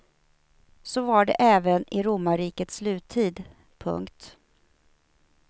Så var det även i romarrikets sluttid. punkt